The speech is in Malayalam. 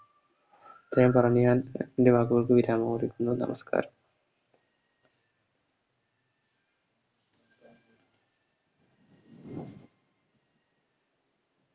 ഇത്രേം പറഞ്ഞ് ഞാൻ എൻറെ വാക്കുകൾക്ക് വിരാമം കൊടുക്കുന്നു നമസ്ക്കാരം